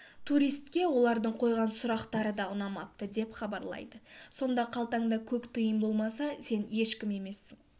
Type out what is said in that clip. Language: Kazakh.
туристке олардың қойған сұрақтары да ұнамапты деп хабарлайды сонда қалтаңда көк тиын болмаса сен ешкім емессің